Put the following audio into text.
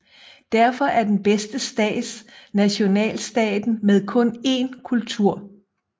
Derfor er den bedste stat nationalstaten med kun én kultur